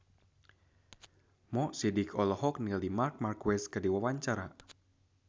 Mo Sidik olohok ningali Marc Marquez keur diwawancara